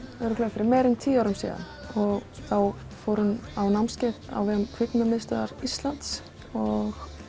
fyrir meira en tíu árum og þá fór hún á námskeið á vegum Kvikmyndamiðstöðvar Íslands og